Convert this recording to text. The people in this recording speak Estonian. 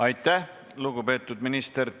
Aitäh, lugupeetud minister!